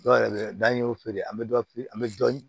Dɔw yɛrɛ bɛ dan an y'o feere an bɛ dɔ feere an bɛ dɔ